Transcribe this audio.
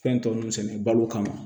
Fɛn tɔ ninnu sɛnɛ balo kama